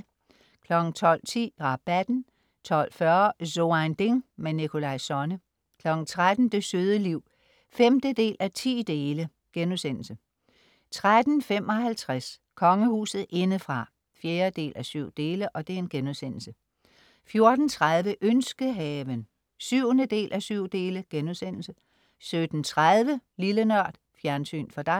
12.10 Rabatten 12.40 So ein Ding. Nikolaj Sonne 13.00 Det søde liv 5:10* 13.55 Kongehuset indefra 4:7* 14.30 Ønskehaven 7:7* 17.30 Lille Nørd. Fjernsyn for dig